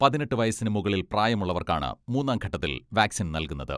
പതിനെട്ട് വയസ്സിന് മുകളിൽ പ്രായമുള്ളവർക്കാണ് മൂന്നാം ഘട്ടത്തിൽ വാക്സിൻ നൽകുന്നത്.